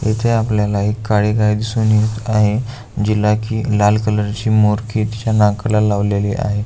इथे आपल्याला एक काळी गाई दिसून येत आहे जीला की लाल कलर ची मोरखी तिच्या नाकाला लावली आहे.